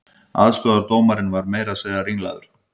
Aðstoðardómarinn var meira að segja ringlaður